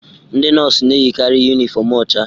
Ndị nọọsụ na-eyikarị yunifọmụ ọcha.